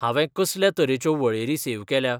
हांवे कसल्या तरेच्यो वळेरी सेव केल्या ?